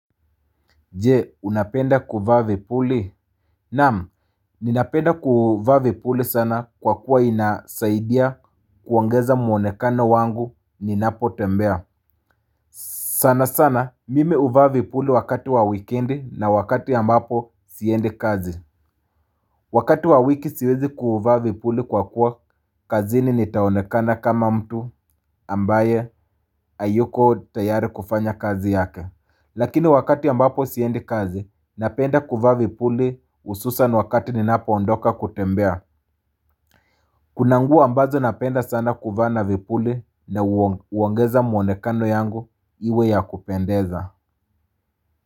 Je, unapenda kuvaa vipuli? Naam, ninapenda kuvaa vipuli sana kwa kuwa inasaidia kuangeza muonekano wangu ninapotembea. Sana sana, mimi huvaa vipuli wakati wa wikendi na wakati ambapo siendi kazi. Wakati wa wiki siwezi kuvaa vipuli kwa kuwa kazini nitaonekana kama mtu ambaye hayuko tayari kufanya kazi yake. Lakini wakati ambapo siendi kazi, napenda kuvaa vipuli hususan wakati ninapoondoka kutembea. Kuna nguo ambazo napenda sana kuva na vipuli na huongeza muonekano yangu iwe ya kupendeza.